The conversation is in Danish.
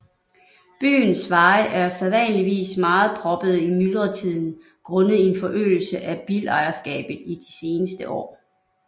Byens veje er sædvanligvis meget proppede i myldretiden grundet en forøgelse af bilejerskabet i de seneste år